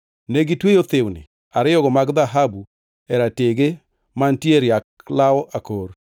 Negitweyo thiwni ariyogo mag dhahabu e ratege mantie e riak law akor,